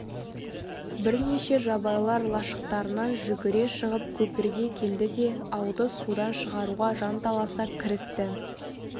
бірнеше жабайылар лашықтарынан жүгіре шығып көпірге келді де ауды судан шығаруға жанталаса кірісті